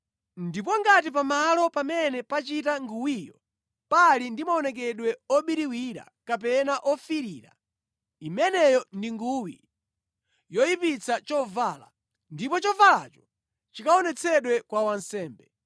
ndipo ngati pamalo pamene pachita nguwiyo pali ndi maonekedwe obiriwira kapena ofiirira imeneyo ndi nguwi yoyipitsa chovala ndipo chovalacho chikaonetsedwe kwa wansembe.